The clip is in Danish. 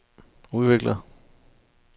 udvikler